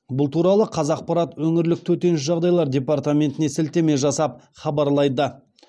бұл туралы қазақпарат өңірлік төтенше жағдайлар департаментіне сілтеме жасап хабарлайды